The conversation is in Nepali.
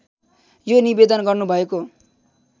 यो निवेदन गर्नुभएको